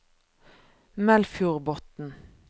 Melfjordbotn